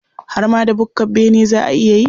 Har ma da bukkar bene za a iya yi.